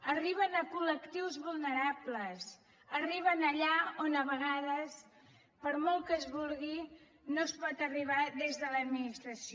arriben a colbles arriben allà on a vegades per molt que es vulgui no es pot arribar des de l’administració